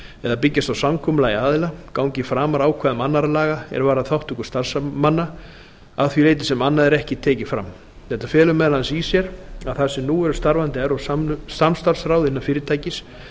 eða byggjast á samkomulagi aðila gangi framar ákvæðum annarra laga er varða þátttöku starfsmanna að því leyti sem annað er ekki tekið fram þetta felur meðal annars í sér að þar sem nú eru starfandi evrópsk samstarfsráð innan fyrirtækis